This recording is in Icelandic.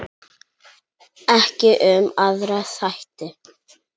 Ekki um aðra þætti.